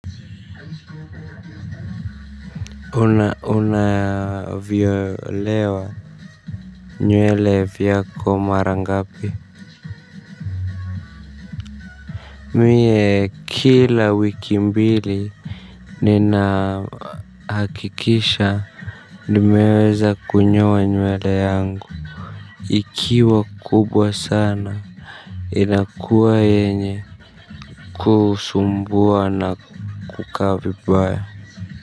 Unanyolewa. Nywele yako mara ngapi? Mie, kila wiki mbili. Ninahakikisha nimeweza kunyoa nywele yangu. Ikiwa kubwa sana, inakuwa yenye kusumbua na kukaa vibaya.